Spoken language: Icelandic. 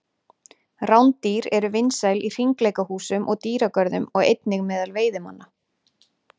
Rándýr eru vinsæl í hringleikahúsum og dýragörðum og einnig meðal veiðimanna.